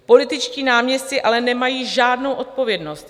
Političtí náměstci ale nemají žádnou odpovědnost.